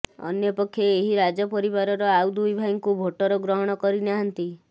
ଅନ୍ୟପକ୍ଷେ ଏହି ରାଜପରିବାରର ଆଉ ଦୁଇଭାଇଙ୍କୁ ଭୋଟର ଗ୍ରହଣ କରିନାହାନ୍ତି